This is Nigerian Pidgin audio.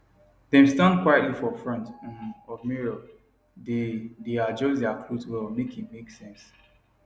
dem stand quietly for front um of mirror dae dae adjust their cloth well make e make sense